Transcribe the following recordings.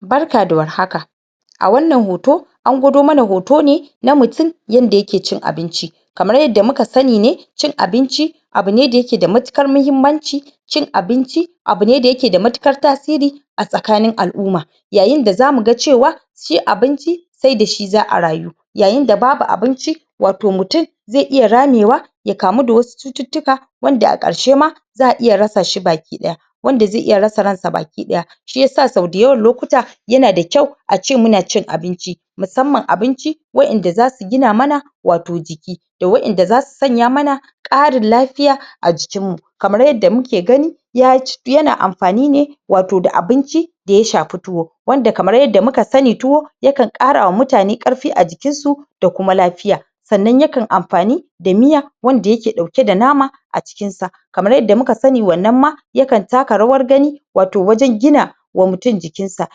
Barka da warhaka a wannan hoto an gwado mana hoto ne na mutun yanda yake cin abinci kamar yadda muka sani ne cin abinci abu ne dayake da matukar muhimmanci cin abinci abu ne dayake da matukar tasiri a tsakanin al'uma yayinda zamuga cewa shi abinci sai dashi za a rayu yayinda babu abinci wato mutun ze iya ramewa ya kamu da wasu cututtuka wanda a ƙarshe ma za a iya rasashi baki ɗaya wanda ze iya rasa ransa baki ɗaya shiyasa sau dayawan lokuta yanada kyau ace muna cin abinci musamman abinci waƴanda zasu gina mana wato jiki da waƴanda zasu sanya mana ƙarin lafiya a jikinmu kamar yadda muke gani yac, yana amfani ne wato da abinci daya shafi tuwo wanda kamar yadda muka sani, tuwo yakan ƙarawa mutane ƙarfi a jikinsu da kuma lafiya sannan yakan amfani da miya wanda yake ɗauke da nama a cikin sa kamar yadda muka sani wannan ma yakan taka rawar gani wato wajen gina wa mutun jikinsa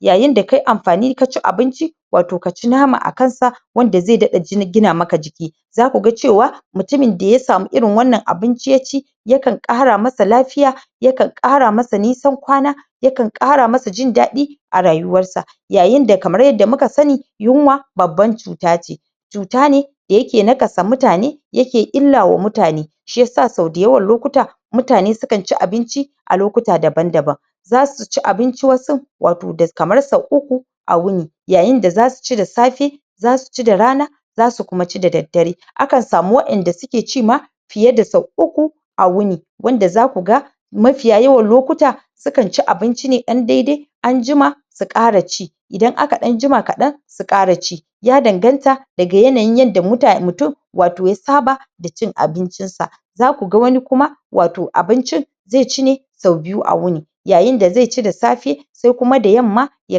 yayinda kai amfani, kaci abinci wato kaci nama akansa wanda zai daɗa ji, gina maka jiki zakuga cewa mutumin daya samu irin wannan abinci yaci yakan ƙara masa lafiya yakan ƙara masa nisan kwana yakan ƙara masa jin daɗi a rayuwarsa yayinda kamar yadda muka sani yunwa babban cuta ce cuta ne dayake nakasa mutane yake illa wa mutane shiyasa sau dayawan lokuta mutane sukan ci abinci a lokuta daban-daban zasuci abinci wasun wato da kamar sau uku a wuni yayinda zasuci da safe zasuci da rana zasu kuma ci da daddare akan samu waƴanda suke ci ma fiye da sau uku a wuni wanda zakuga mafiya yawan lokuta sukan ci abinci ne ɗan dede anjima su ƙara ci idan aka ɗan jima kaɗan su ƙara ci ya danganta daga yanayin yanda muta, mutun wato ya saba da cin abincin sa zakuga wani kuma wato abincin ze ci ne sau biyu a wuni yayinda ze ci da safe se kuma da yamma ya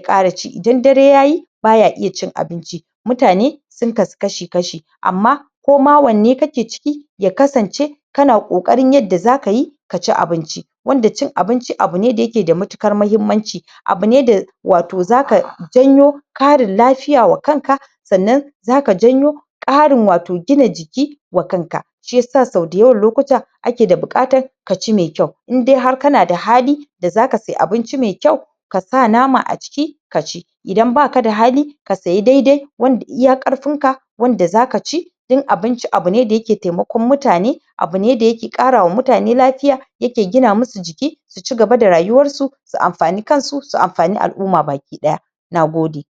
ƙara ci, idan dare yayi baya iya cin abinci mutane sun kasu kashi-kashi amma koma wanne kake ciki ya kasance kana ƙoƙarin yadda zakayi kaci abinci wanda cin abinci abu ne dayake da matukar muhimmanci abu ne da wato zaka janyo karin lafiya wa kanka sannan zaka janyo ƙarin wato gina jiki wa kanka shiyasa sau dayawan lokuta ake da buƙatan kaci me kyau inde har kanada hali da zaka se abinci me kyau kasa nama a ciki, ka ci idan bakada hali ka sayi dede wanda iya ƙarfin ka wanda zaka ci don abinci abune dayake temakon mutane abune dayake ƙarawa mutane lafiya yake gina musu jiki su cigaba da rayuwarsu su amfani kansu, su amfani al'uma baki ɗaya nagode